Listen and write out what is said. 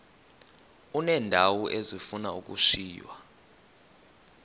uneendawo ezifuna ukushiywa